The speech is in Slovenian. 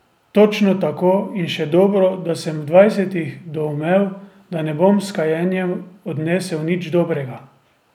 Točno tako, in še dobro, da sem v dvajsetih doumel, da ne bom s kajenjem odnesel nič dobrega.